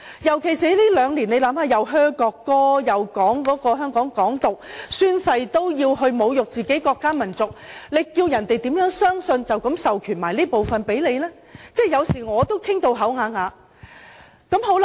特別是香港在過去兩年出現噓國歌、宣揚"港獨"，連議員宣誓也要侮辱自己的國家民族，叫中央怎有信心授權這部分的權力予香港人員呢？